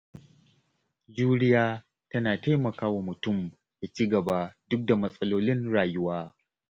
Juriya tana taimakawa mutum ya ci gaba duk da matsalolin rayuwa.